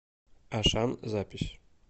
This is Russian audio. ашан запись